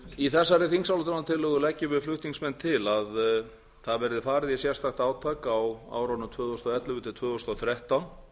í þessari þingsályktunartillögu leggjum við flutningsmenn til að það verði farið í sérstakt átak á árunum tvö þúsund og ellefu til tvö þúsund og þrettán